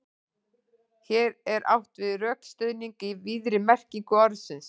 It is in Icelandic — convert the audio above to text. Hér er átt við rökstuðning í víðri merkingu orðsins.